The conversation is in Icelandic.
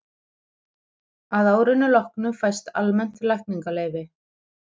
Að árinu loknu fæst almennt lækningaleyfi.